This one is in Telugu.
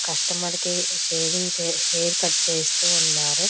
కస్టమర్ కి షేవింగ్ చే హెయిర్ కట్ చేస్తూ ఉన్నారు.